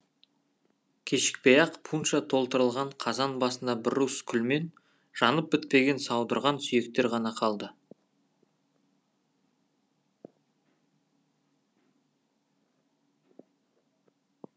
кешікпей ақ пунша толтырылған қазан басында бір уыс күлмен жанып бітпеген саудырған сүйектер ғана қалды